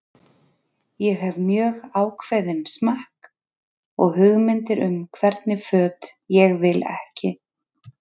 Ég hef mjög ákveðinn smekk og hugmyndir um hvernig föt ég vil ekki.